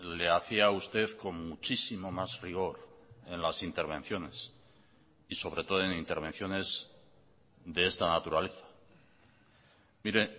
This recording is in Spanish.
le hacía a usted con muchísimo más rigor en las intervenciones y sobre todo en intervenciones de esta naturaleza mire